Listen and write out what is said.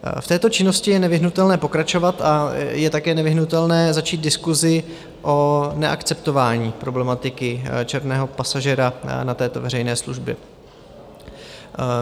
V této činnosti je nevyhnutelné pokračovat a je také nevyhnutelné začít diskusi o neakceptování problematiky černého pasažéra na této veřejné službě.